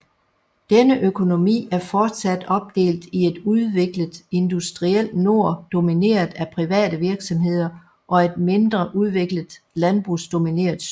Denne økonomi er fortsat opdelt i et udviklet industriel nord domineret af private virksomheder og et mindre udviklet landbrugsdomineret syd